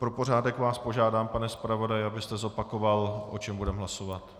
Pro pořádek vás požádám, pane zpravodaji, abyste zopakoval, o čem budeme hlasovat.